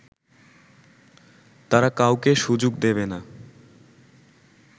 তারা কাউকে সুযোগ দেবে না